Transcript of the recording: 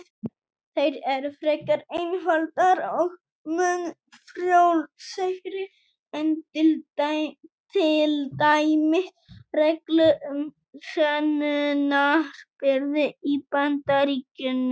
Þær eru frekar einfaldar og mun frjálslegri en til dæmis reglur um sönnunarbyrði í Bandaríkjunum.